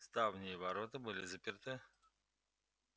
ставни и ворота были заперты